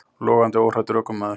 Logandi óhræddur ökumaður